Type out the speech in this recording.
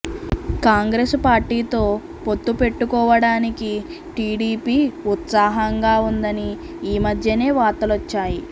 కాంగ్రెసు పార్టీతో పొత్తు పెట్టుకోవడానికి టీడీపీ ఉత్సాహంగా ఉందని ఈమధ్యనే వార్తలొచ్చాయి